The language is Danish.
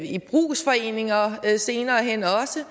i brugsforeninger senere hen også